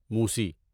موسی